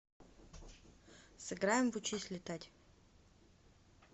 сыграем в учись летать